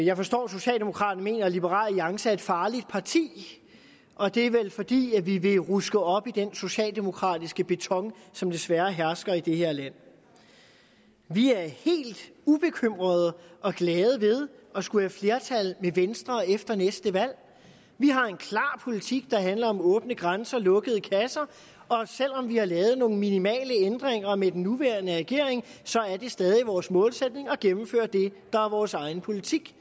jeg forstår at socialdemokraterne mener at liberal alliance er et farligt parti og det er vel fordi vi vil ruske op i den socialdemokratiske beton som desværre hersker i det her land vi er helt ubekymrede og glade ved at skulle være flertal med venstre efter næste valg vi har en klar politik der handler om åbne grænser og lukkede kasser og selv om vi har lavet nogle minimale ændringer med den nuværende regering er det stadig vores målsætning at gennemføre det der er vores egen politik